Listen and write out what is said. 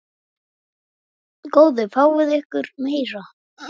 Góðu fáið ykkur meira.